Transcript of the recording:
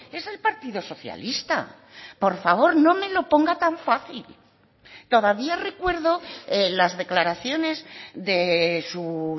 es el partido socialista por favor no me lo ponga tan fácil todavía recuerdo las declaraciones de su